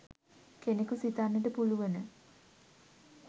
කෙනකු සිතන්නට පුළුවන